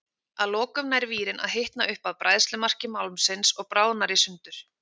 Að lokum nær vírinn að hitna upp að bræðslumarki málmsins og bráðnar í sundur.